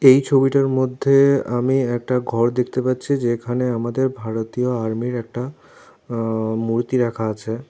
এই ছবিটার মধ্যে আমি একটা ঘর দেখতে পাচ্ছি যেখানে আমাদের ভারতীয় আর্মির একটা আ মূর্তি রাখা আছে।